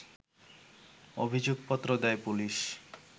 অভিযোগপত্র দেয় পুলিশ